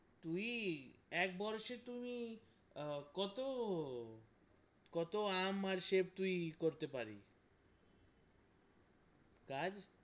তুই এক বরোষে তুই কত কত আম আর সেফ তুই করতে পারিস কাজ?